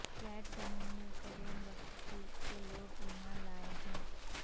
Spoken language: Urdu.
فلیٹ زمین میں قرون وسطی کے لوگ ایمان لائے ہیں